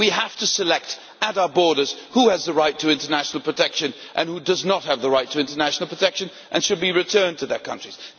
We have to select, at our borders, who has the right to international protection, and who does not have the right to international protection and should be returned to their countries.